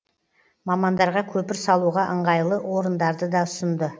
мамандарға көпір салуға ыңғайлы орындарды да ұсынды